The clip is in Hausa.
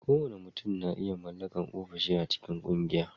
Kowane mutum na iya mallakar ofishi a cikin ƙungiya